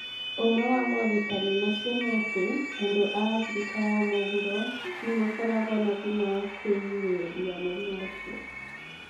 Ũmwe wa morutani macio nĩ atĩ, andũ a Afrika ya Mũhuro nĩ makoragwo na hinya wa kwĩgirĩrĩria mũrimũ ũcio.